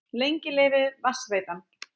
Lengi lifi Vatnsveitan!